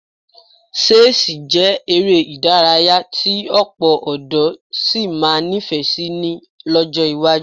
Ṣẹ́ẹ̀sì jẹ́ eré ìdárayá tí ọ̀pọ̀ ọ̀dọ́ sì máa nífẹ̀ẹ́ sí lọ́jọ́ iwájú